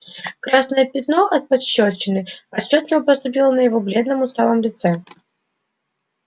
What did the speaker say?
красное пятно от пощёчины отчётливо проступило на его бледном усталом лице